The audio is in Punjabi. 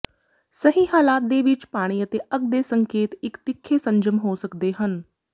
ਸਹੀ ਹਾਲਾਤ ਦੇ ਵਿੱਚ ਪਾਣੀ ਅਤੇ ਅੱਗ ਦੇ ਸੰਕੇਤ ਇਕ ਤਿੱਖੇ ਸੰਜਮ ਹੋ ਸਕਦੇ ਹਨ